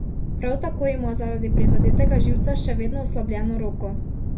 Prav tako ima zaradi prizadetega živca še vedno oslabljeno desno roko.